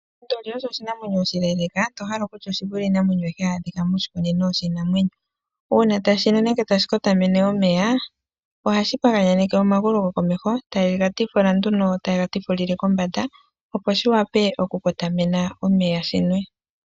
Onduli oyo oshinamwenyo oshileleka tohala okutya oshivule iinamwenyo ayihe hayi adhika moshikunino shiinamwenyo. Uuna tashi nu nenge tashi kotamene omeya, ohashi paganyaneke omagulu gokomesho tayi ga tikula nduno, tayi gatikulile kombanda opo shiwape oku kotamena omeya shinwe.